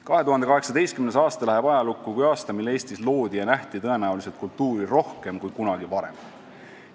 2018. aasta läheb ajalukku kui aasta, mil Eestis loodi ja nähti kultuuri tõenäoliselt rohkem kui kunagi varem.